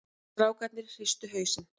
Strákarnir hristu hausinn.